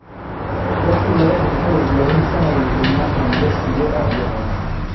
Dadki laka dinteyow illahey samar iyo iman hanakasiyo Abahen.